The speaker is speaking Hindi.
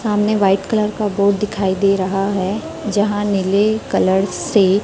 सामने व्हाइट कलर का बोर्ड दिखाई दे रहा है जहां नीले कलर से--